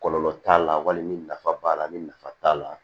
Kɔlɔlɔ t'a la wali ni nafa b'a la ni nafa t'a la